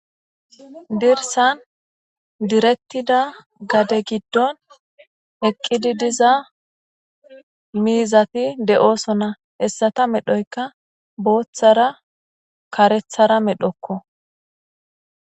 Dirsan diretida gade giddon eqqidi diza miizati de7oosona hessata medhoyka booththara karethara medhokko.